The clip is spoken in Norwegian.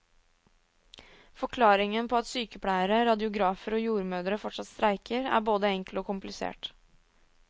Forklaringen på at sykepleiere, radiografer og jordmødre fortsatt streiker, er både enkel og komplisert.